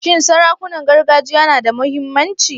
Shin sarakunan gargajiya na da muhimmanci?